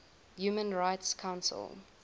human rights council